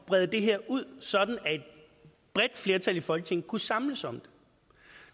brede det her ud sådan at et bredt flertal i folketinget kunne samles om det